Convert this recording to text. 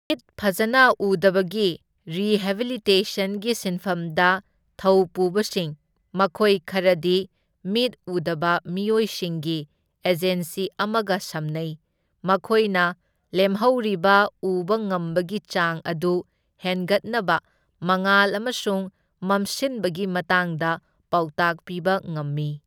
ꯃꯤꯠ ꯐꯖꯅ ꯎꯗꯕꯒꯤ ꯔꯤꯍꯦꯕꯤꯂꯤꯇꯦꯁꯟꯒꯤ ꯁꯤꯟꯐꯝꯗ ꯊꯧꯄꯨꯕꯁꯤꯡ, ꯃꯈꯣꯢ ꯈꯔꯗꯤ ꯃꯤꯠ ꯎꯗꯕ ꯃꯤꯑꯣꯏꯁꯤꯡꯒꯤ ꯑꯦꯖꯦꯟꯁꯤ ꯑꯃꯒ ꯁꯝꯅꯩ, ꯃꯈꯣꯢꯅ ꯂꯦꯝꯍꯧꯔꯤꯕ ꯎꯕ ꯉꯝꯕꯒꯤ ꯆꯥꯡ ꯑꯗꯨ ꯍꯦꯟꯒꯠꯅꯕ ꯃꯉꯥꯜ ꯑꯃꯁꯨꯡ ꯃꯝꯁꯤꯟꯕꯒꯤ ꯃꯇꯥꯡꯗ ꯄꯥꯎꯇꯥꯛ ꯄꯤꯕ ꯉꯝꯃꯤ꯫